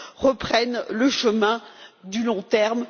reprennent le chemin du long terme.